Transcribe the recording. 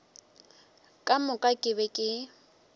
ka moka ke be ke